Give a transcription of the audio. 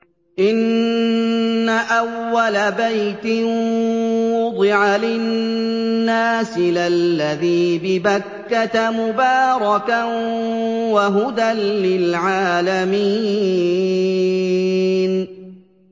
إِنَّ أَوَّلَ بَيْتٍ وُضِعَ لِلنَّاسِ لَلَّذِي بِبَكَّةَ مُبَارَكًا وَهُدًى لِّلْعَالَمِينَ